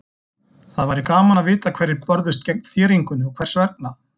Það væri gaman að vita hverjir börðust gegn þéringunni og hvers vegna.